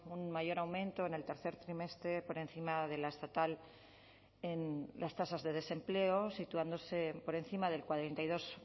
un mayor aumento en el tercer trimestre por encima de la estatal en las tasas de desempleo situándose por encima del cuarenta y dos